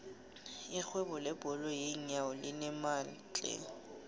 irhwebo lebhola yeenyawo linemali tlhe